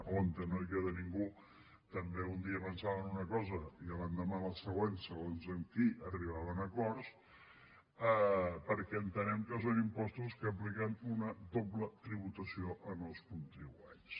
on no queda ningú també un dia pensaven una cosa i l’endemà la següent segons amb qui arribaven a acords perquè entenem que són impostos que apliquen una doble tributació als contribuents